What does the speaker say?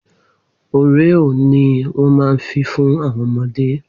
Oreo ni wọ́n ma fi fún àwọn ọmọdé